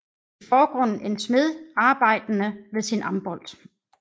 I forgrunden en smed arbejdende ved sin ambolt